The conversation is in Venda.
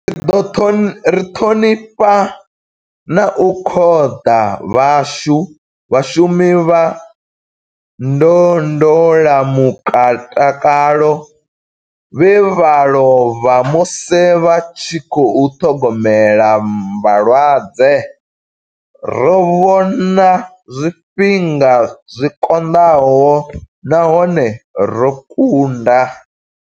Ri ṱhonifha na u khoḓa vhashu vhashumi vha ndondola mutakalo vhe vha lovha musi vha tshi khou ṱhogomela vhalwadze. Ro vhona zwifhinga zwi konḓaho nahone ro kunda.